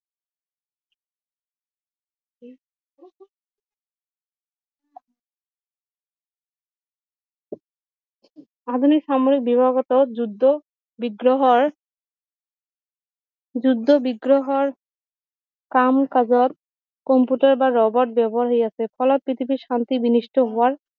আধুনিক সাময়িক বিভাগটো যুদ্ধ বিগ্ৰহৰ যুদ্ধ বিগ্ৰহৰ কাম কাজত কম্পিউটাৰ বা ৰবট ব্যৱহাৰ হৈ আছে ফলত পৃথিৱীৰ শান্তি বিনিষ্ট হোৱাৰ